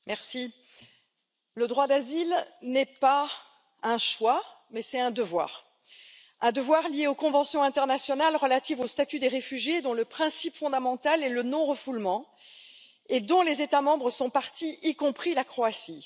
Madame la Présidente, le droit d'asile n'est pas un choix, mais un devoir. Un devoir lié aux conventions internationales relatives au statut des réfugiés, dont le principe fondamental est le non refoulement et auxquelles les États membres sont parties, y compris la Croatie.